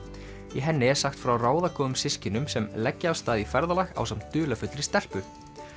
í henni er sagt frá ráðagóðum systkinum sem leggja af stað í ferðalag ásamt dularfullri stelpu